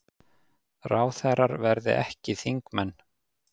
Ráðherrar verði ekki þingmenn